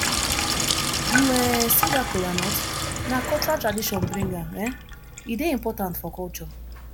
you um see dat kola nut na cultural tradition bring am um e dey important for culture